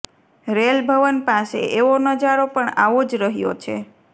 rail ભવન પાસે એવો નજારો પણ આવો જ રહ્યોછે